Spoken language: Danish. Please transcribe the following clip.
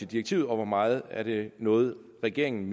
direktivet og hvor meget af det der noget regeringe